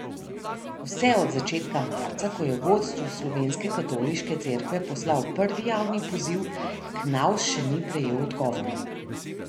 Vse od začetka marca, ko je vodstvu slovenske Katoliške cerkve poslal prvi javni poziv, Knavs še ni prejel odgovora.